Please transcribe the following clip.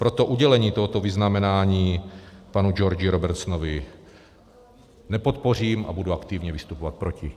Proto udělení tohoto vyznamenání panu Georgi Robertsonovi nepodpořím a budu aktivně vystupovat proti.